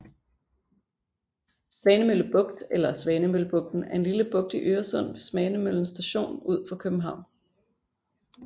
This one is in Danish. Svanemølle Bugt eller Svanemøllebugten er en lille bugt i Øresund ved Svanemøllen Station ud for København